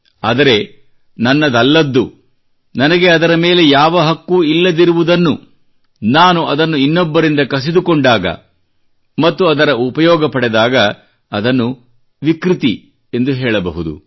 ಆದರೆ ನನ್ನದಲ್ಲದ್ದು ನನಗೆ ಅದರ ಮೇಲೆ ಯಾವ ಹಕ್ಕೂ ಇಲ್ಲದಿರುವುದನ್ನು ನಾನು ಅದನ್ನು ಇನ್ನೊಬ್ಬರಿಂದ ಕಸಿದುಕೊಂಡಾಗ ಮತ್ತು ಅದರ ಉಪಯೋಗ ಪಡೆದಾಗ ಅದನ್ನು ವಿಕೃತಿ ಎಂದು ಹೇಳಬಹುದು